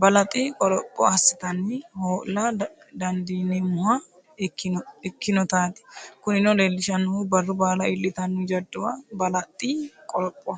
balaxi qoropho assatenni hoo’la dandiineemmoha ikkinotaati Kunino leellishannohu barru baala iillitanno jadduwa balaxi qoropho.